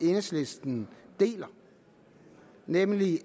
enhedslisten deler nemlig